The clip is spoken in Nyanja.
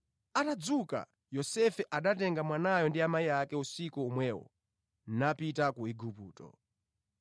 Atadzuka, Yosefe anatenga mwanayo ndi amayi ake usiku omwewo napita ku Igupto,